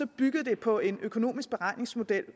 byggede det på en økonomisk beregningsmodel